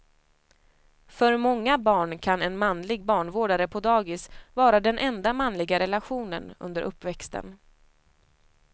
För många barn kan en manlig barnvårdare på dagis vara den enda manliga relationen under uppväxten.